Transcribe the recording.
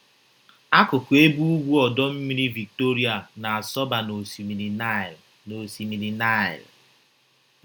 Akụkụ ebe ugwu Ọdọ Mmiri Victoria na - asọba n’Osimiri Naịl n’Osimiri Naịl.